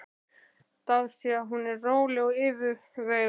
Dáðst að því hvað hún er róleg og yfirveguð.